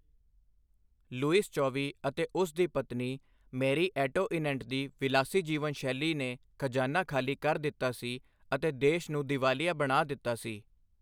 Louis ਚੌਵੀ ਅਤੇ ਉਸ ਦੀ ਪਤਨੀ ਮੇਰੀ ਐਟੋਇਨੇਂਟ ਦੀ ਵਿਲਾਸੀ ਜੀਵਨ ਸ਼ੈਲੀ ਨੇ ਖਜ਼ਾਨਾ ਖਾਲੀ ਕਰ ਦਿੱਤਾ ਸੀ ਅਤੇ ਦੇਸ਼ ਨੂੰ ਦੀਵਾਲੀਆ ਬਣਾ ਦਿੱਤਾ ਸੀ।